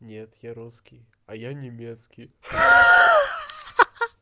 нет я русский а я немецкий ха-ха